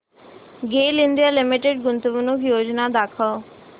गेल India limited गुंतवणूक योजना दाखव